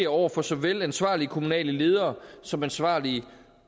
over for såvel ansvarlige kommunale ledere som ansvarlige